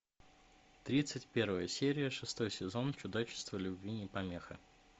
тридцать первая серия шестой сезон чудачество любви не помеха